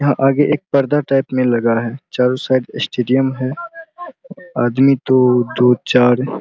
यहाँ आगे एक पर्दा टाइप में लगा है चारो साइड स्टेडियम है आदमी तो दो चार --